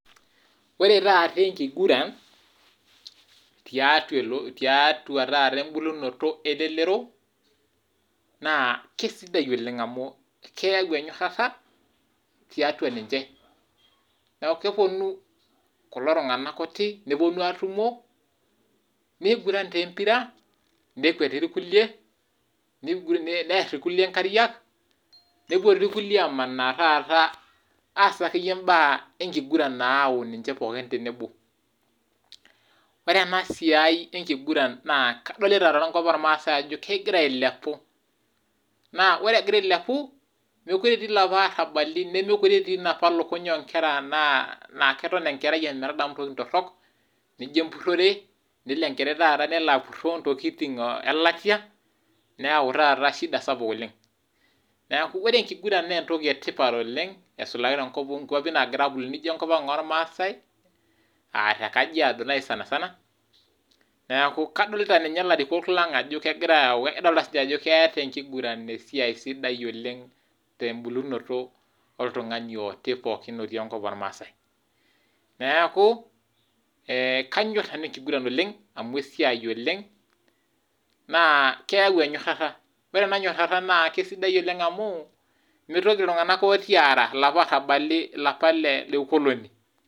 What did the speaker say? Ore taata enkiguran, tiatua taata embulunoto elelero, naa keisidai oleng amu keyau enyorata tiatua ninche, neeku keponu kulo tunganak kuti neponu atumo, neiguran taa empira , nekwet irkulie neer irkulie nkariak naa dii ake yie irkulie amaana aas imbaa enkiguran oo ninche pookin tenebo. ore ena siai enkiguran naa kadilita tenkop ormaasai ajo kegira ailepunye, naa ore egira ailepu, meekure etii ilapa arabali meekure etii napa lukuny nkera naa ketok enkerai ometadamu ntokiting tirok naijo empurore nelo enkerai taata nelo apuroo ntokiting elatia nayau taata shida sapuk oleng , neeku ore enkiguran naa entoki etipat oleng aisulaki nkwapi naagirae abulu naijo enkop ang ormaasai , aa tekajiado naaji sanisana ,kadolita ninye ilarikok lang ajo kedolita siininche ajo keeta enkiguran esiai sidai oleng tembulunoto oltungani oti pookin otii enkop ormaasai ,neeku kanyor nanu enkiguran oleng amu esiai oleng naa keyau enyorota naa ore ena nyorota naa keisidai oleng amu, mitoki iltunganak ooti aara ilapa arabali le ukoloni.